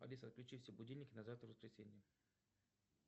алиса отключи все будильники на завтра воскресенье